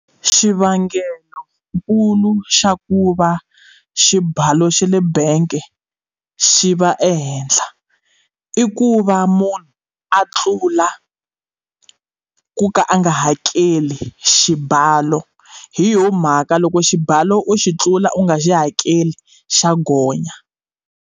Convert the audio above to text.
Xivangelonkulu xa ku va xibalo xa le bank xi va ehenhla i ku va munhu a tlula ku ka a nga hakeli xibalo hi yoho mhaka loko xibalo xi tlula u nga xi hakeli xa gonya.